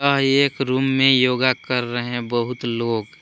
यह एक रूम में योगा कर रहे बहुत लोग--